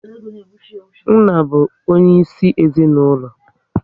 Nna bụ onye isi ezinaụlọ